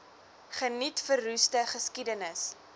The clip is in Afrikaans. geniet verroeste geskiedenis